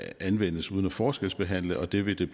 anvendes uden at forskelsbehandle og det vil